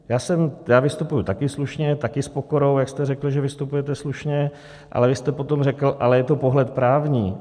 Já vystupuji také slušně, také s pokorou, jak jste řekl, že vystupujete slušně, ale vy jste potom řekl, ale je to pohled právní.